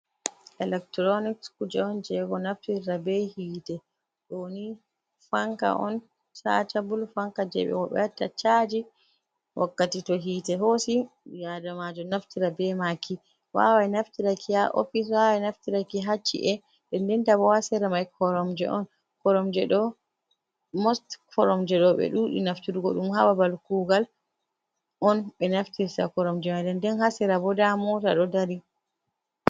Electuronics, kuje on jego naftirra be hite. Ɗo ni fanka on chajaabul fanka, jeɓe watta chaji wakkati to hite hosi. Ɓii, adamajo naftira be maki wawai naftiraki ha ofis, wawai naftiraki ha ci, e. Nden nda bo hasera mai koromje on most koromje ɗo ɓe ɗuɗi naftirgo ɗum hababal kugal on be naftir ta koromje. Nden nden hasera bo nda mota ɗo dari.